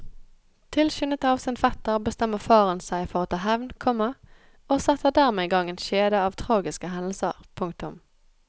Tilskyndet av sin fetter bestemmer faren seg for å ta hevn, komma og setter dermed i gang en kjede av tragiske hendelser. punktum